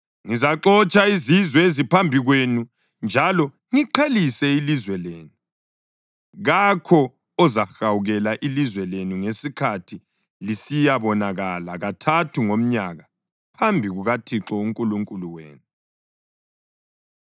Ngizaxotsha izizwe eziphambi kwenu njalo ngiqhelise ilizwe lenu, kakho ozahawukela ilizwe lenu ngesikhathi lisiyabonakala kathathu ngomnyaka phambi kukaThixo uNkulunkulu wenu.